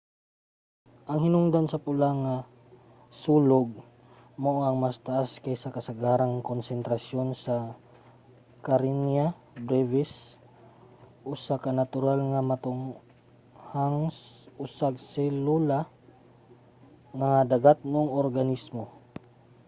ang hinungdan sa pula nga sulog mao ang mas taas kaysa sa kasagarang konsentrasyon sa karenia brevis usa ka natural nga motunghang usag-selula nga dagatnong organismo